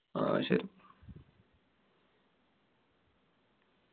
ആ ശരി.